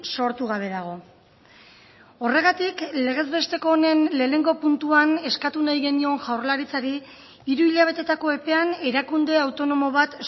sortu gabe dago horregatik legez besteko honen lehenengo puntuan eskatu nahi genion jaurlaritzari hiru hilabeteetako epean erakunde autonomo bat